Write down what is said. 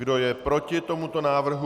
Kdo je proti tomuto návrhu?